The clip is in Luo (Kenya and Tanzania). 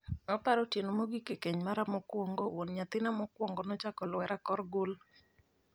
'Aparo otieno no mogik e keny mara mokwongo, wuon nyathina mokwongo nenochako lwera kor gul,